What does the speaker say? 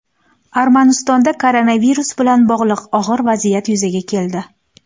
Armanistonda koronavirus bilan bog‘liq og‘ir vaziyat yuzaga keldi.